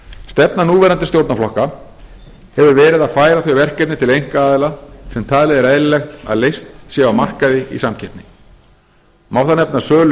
stefna núverandi stjórnarflokka hefur verið að færa þau verkefni til einkaaðila sem talið er eðlilegt að leyst séu á markaði í samkeppni má þar nefna sölu